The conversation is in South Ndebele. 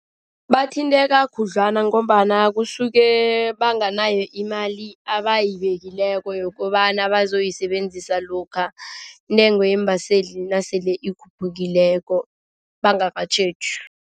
Bathinteka khudlwana ngombana kusuke banganayo imali abayibelileko yokobana bazoyisebenzisa lokha intengo yeembaseli nasele ikhuphukileko bangakatjheji.